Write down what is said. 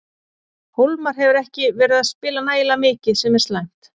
Hólmar hefur ekki verið að spila nægilega mikið sem er slæmt.